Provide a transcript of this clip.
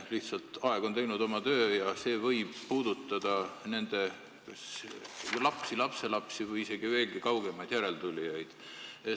Lihtsalt aeg on teinud oma töö ja see klausel võib puudutada nende lapsi, lapselapsi või isegi veelgi kaugemaid järeltulijaid.